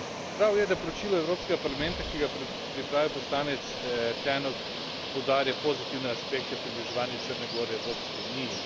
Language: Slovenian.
Prav je, da poročilo Evropskega parlamenta, ki ga je pripravil poslanec Tannock, poudarja pozitivne aspekte približevanja Črne gore Evropski uniji.